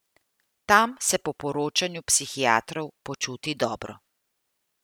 Tam se po poročanju psihiatrov počuti dobro.